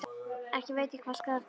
Ekki veit ég hvað gera skal.